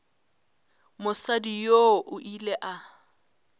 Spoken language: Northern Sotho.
mosadi yoo o ile a